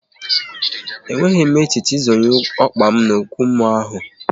E nweghị m echiche ị zonye ọkpa m n'okwu mmụọ ahụ